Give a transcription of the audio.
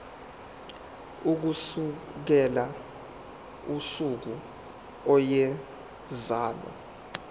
ukusukela usuku eyazalwa